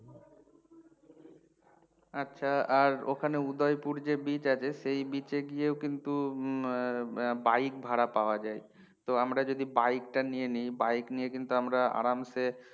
আচ্ছা আর ওখানে উদয়পুর যে beach আছে সেই beach এ গিয়েও কিন্তু হম হম bike ভাড়া পাওয়া যায় তো আমরা যদি bike টা নিয়ে নি bike নিয়ে কিন্তু আমরা আরামসে